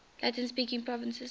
latin speaking provinces sent